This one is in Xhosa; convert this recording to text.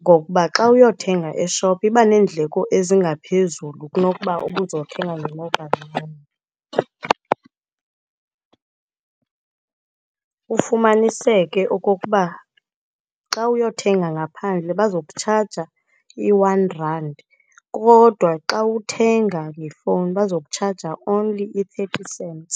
ngokuba xa uyothenga eshophu iba neendleko ezingaphezulu kunokuba ubuzothenga nge-mobile money. Ufumaniseke okokuba xa uyothenga ngaphandle bazokutshaja i-one rand, kodwa xa uthenga ngefowuni bazokutshaja only i-thirty cents.